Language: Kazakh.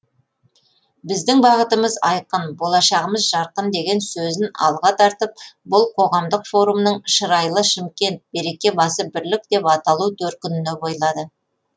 біздің бағытымыз айқын болашағымыз жарқын деген сөзін алға тартып бұл қоғамдық форумның шырайлы шымкент береке басы бірлік деп аталу төркініне бойлады